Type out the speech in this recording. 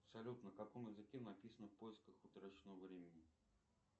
салют на каком языке написано в поисках утраченного времени